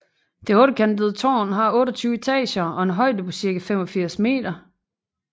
Det ottekantede tårn har 28 etager og en højde på cirka 85 meter